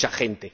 Mucha gente.